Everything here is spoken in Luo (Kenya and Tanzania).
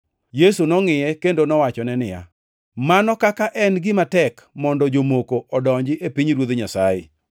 Yesu nongʼiye kendo nowachone niya, “Mano kaka en gima tek mondo jomoko odonji e pinyruoth Nyasaye.